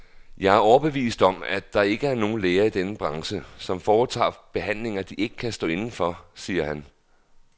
Jeg er overbevist om, at der ikke er nogen læger i denne branche, som foretager behandlinger, de ikke kan stå inde for, siger han.